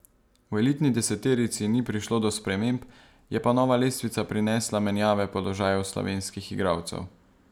V elitni deseterici ni prišlo do sprememb, je pa nova lestvica prinesla menjave položajev slovenskih igralcev.